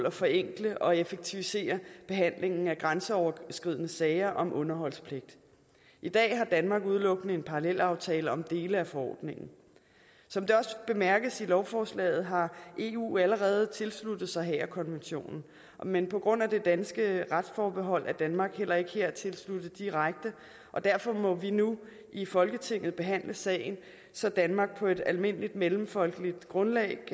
at forenkle og effektivisere behandlingen af grænseoverskridende sager om underholdspligt i dag har danmark udelukkende en parallelaftale om dele af forordningen som det også bemærkes i lovforslaget har eu allerede tilsluttet sig haagerkonventionen men på grund af at det danske retsforbehold er danmark heller ikke her tilsluttet direkte og derfor må vi nu i folketinget behandle sagen så danmark på et almindeligt mellemfolkeligt grundlag